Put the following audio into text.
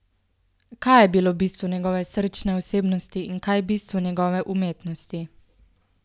Kaj je bilo bistvo njegove srčne osebnosti in kaj bistvo njegove umetnosti?